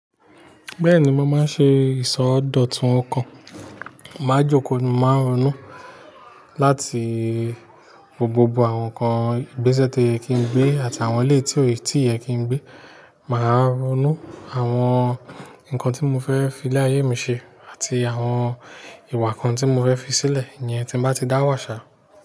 Bẹ́ẹ̀ni, mo máa ń ṣe ìsọdọ̀tun ọkàn. Màá jókòó, màá ronú láti gbogbo àwọn nǹkan ìgbésẹ̀ tó yẹ kí n gbé àti àwọn ilé tí òyè tí yẹ kí n gbé. Màá ronú àwọn nǹkan tí mo fẹ́ fi lé ayé mi ṣe àti àwọn ìwà kan tí mo fẹ́ fi sílẹ̀ yẹn tí bá ti dá wàṣà.